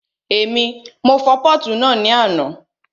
Èmi, mo fọ pọ́ọ̀tù náà ní àná